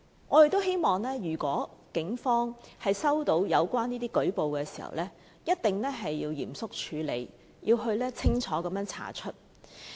我們希望如果警方接獲有關舉報，一定要嚴肅處理，清楚徹查。